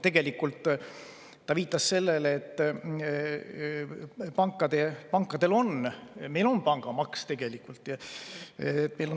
Tegelikult viitas ta sellele, et meil on juba tegelikult pangamaks.